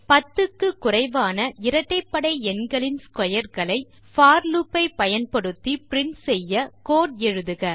10 க்கு குறைவான இரட்டைப்படை எண்களின் ஸ்க்வேர் களை போர் லூப் ஐ பயன்படுத்தி பிரின்ட் செய்ய கோட் எழுதுக